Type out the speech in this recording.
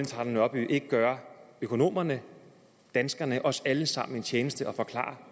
trane nørby ikke gøre økonomerne danskerne os alle sammen den tjeneste at forklare